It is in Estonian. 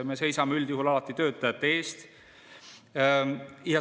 Me seisame üldjuhul alati töötajate eest.